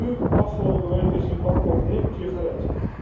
En nu, afgelopen week, is die bank op het nippertje gered.